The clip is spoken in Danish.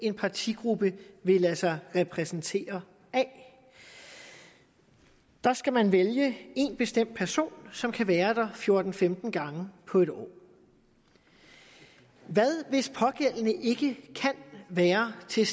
en partigruppe vil lade sig repræsentere af der skal man vælge én bestemt person som kan være der fjorten til femten gange på en år hvad hvis pågældende ikke kan være til